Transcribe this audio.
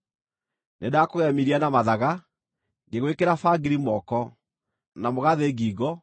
Nĩndakũgemirie na mathaga: ngĩgwĩkĩra bangiri moko, na mũgathĩ ngingo,